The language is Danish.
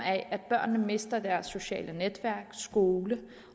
at børnene mister deres sociale netværk i skolen